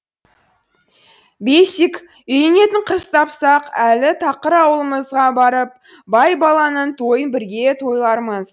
бесик үйленетін қыз тапсақ әлі тақыр ауылымызға барып байбаланың тойын бірге тойлармыз